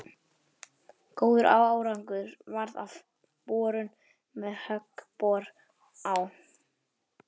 Góður árangur varð af borun með höggbor á